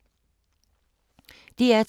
DR2